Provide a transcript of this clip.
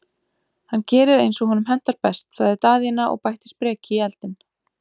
Hann gerir eins og honum hentar best, sagði Daðína og bætti spreki í eldinn.